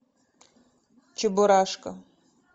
чебурашка